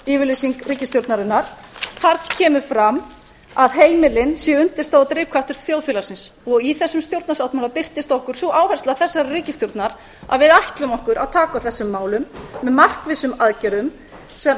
stefnuyfirlýsing ríkisstjórnarinnar þar kemur fram að heimilin séu undirstaða og drifkraftur þjóðfélagsins í þessum stjórnarsáttmála birtist okkur sú áhersla þessarar ríkisstjórnar að við ætlum okkur að taka á þessum málum með markvissum aðgerðum sem